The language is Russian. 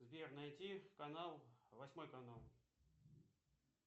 сбер найди канал восьмой канал